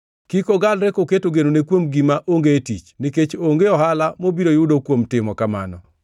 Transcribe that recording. Kik ogalre koketo genone kuom gima onge tich nikech onge ohala mobiro yudo kuom timo kamano.